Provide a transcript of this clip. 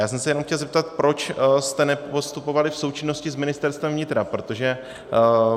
Já jsem se jenom chtěl zeptat, proč jste nepostupovali v součinnosti s Ministerstvem vnitra, protože...